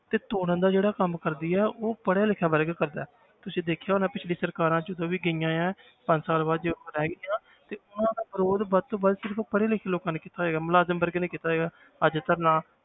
ਤੇ ਤੋੜਨ ਦਾ ਜਿਹੜਾ ਕੰਮ ਕਰਦੀ ਹੈ ਉਹ ਪੜ੍ਹਿਆ ਲਿਖਿਆ ਵਰਗ ਕਰਦਾ ਹੈ ਤੁਸੀਂ ਦੇਖਿਆ ਹੋਣਾ ਪਿੱਛਲੀ ਸਰਕਾਰਾਂ ਜਦੋਂ ਵੀ ਗਈਆਂ ਹੈ ਪੰਜ ਸਾਲ ਬਾਅਦ ਜਦੋਂ ਤੇ ਉਹਨਾਂ ਵਿਰੋਧ ਵੱਧ ਤੋਂ ਵੱਧ ਸਿਰਫ਼ ਪੜ੍ਹੇ ਲਿਖੇ ਲੋਕਾਂ ਨੇ ਕੀਤਾ ਸੀਗਾ ਮੁਲਾਜ਼ਮ ਵਰਗ ਨੇ ਕੀਤਾ ਸੀਗਾ ਅੱਜ ਧਰਨਾ